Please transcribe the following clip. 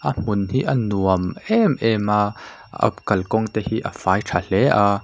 a hmun hi a nuam em em a a kalkawng te hi a fai tha hle a.